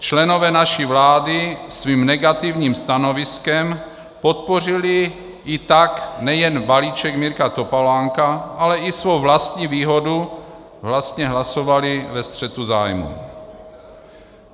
Členové naší vlády svým negativním stanoviskem podpořili i tak nejen balíček Mirka Topolánka, ale i svou vlastní výhodu, vlastně hlasovali ve střetu zájmů.